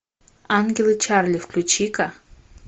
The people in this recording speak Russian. ангелы чарли включи ка